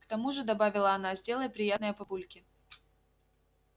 к тому же добавила она сделай приятное папульке